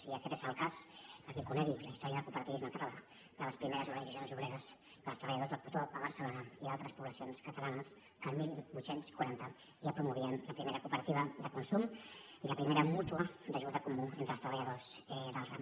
i aquest és el cas per a qui conegui la història del cooperativisme català de les primeres organitzacions obreres dels treballadors del cotó a barcelona i d’altres poblacions catalanes que al divuit quaranta ja promovien la primera cooperativa de consum i la primera mútua d’ajuda comú entre els treballadors del ram